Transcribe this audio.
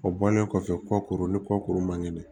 O bɔlen kɔfɛ kɔ ni kɔ kuru man kɛnɛ